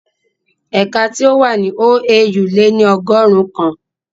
Ẹ̀ka tí ó wà ní OAU le ní ọgọ́rùn ún kan